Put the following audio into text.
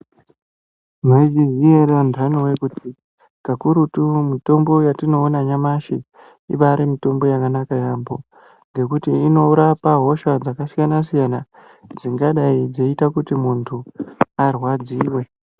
Maizviziva here andani kuti kakurutu mitombo yatinoona nyamashi ibari mitombo yakanaka yambo ngekuti inorapa hosha dzakasiyana siyana dzingadai dzeita kuti muntu arwadziwe.